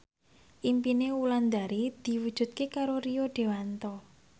impine Wulandari diwujudke karo Rio Dewanto